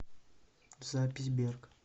запись берг